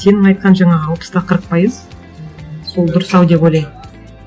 сенің айтқан жаңағы алпыс та қырық пайыз сол дұрыс ау деп ойлаймын